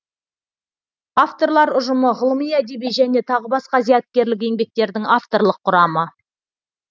авторлар ұжымы ғылыми әдеби және тағы басқа зияткерлік еңбектердің авторлық құрамы